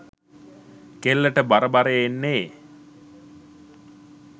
කෙල්ලට බර බරේ එන්නේ